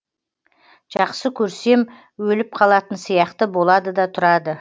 жақсы көрсем өліп қалатын сияқты болады да тұрады